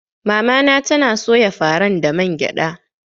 Mamana tana soya faran da man gyada.